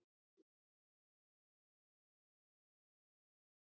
Við höfum sýnt þroska í tækni og virtumst sterkir á öllum sviðum.